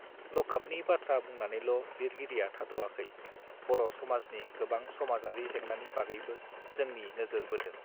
लकआपनि बाथ्रा बुंनानैल लिरगिरिया थाद आखै बर समाजनि गोबां समाजारि जेंनानि बागैबो जोंनि नोजोर बोदों